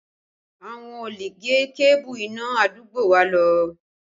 Àwọn olè gé kébù iná àdúgbò wa lọ